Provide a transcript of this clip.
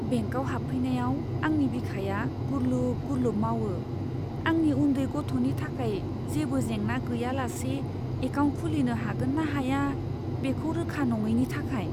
बेंकआव हाबफैनायाव, आंनि बिखाया गुरलुब गुरलुब मावो, आंनि उन्दै गथ'नि थाखाय जेबो जेंना गैयालासे एकाउन्ट खुलिनो हागोन ना हाया, बेखौ रोखा नङैनि थाखाय।